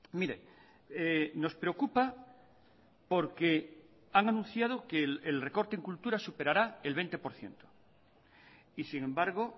mire nos preocupa porque han anunciado que el recorte en cultura superará el veinte por ciento y sin embargo